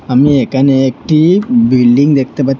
আমি এখানে একটি বিল্ডিং দেখতে পা--